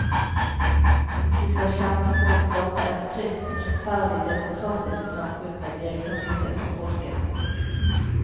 De skal kjempe for å skape et fritt, rettferdig, demokratisk samfunn med deltakelse fra folket.